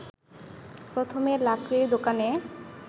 প্রথমে লাকড়ির দোকানে